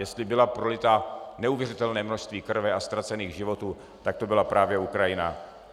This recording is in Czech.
Jestli bylo prolito neuvěřitelné množství krve a ztracených životů, tak to byla právě Ukrajina.